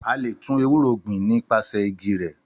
Àlé tun èwúrò gbin ni pàsẹ ìgí rẹ